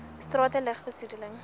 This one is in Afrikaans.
strate lug besoedeling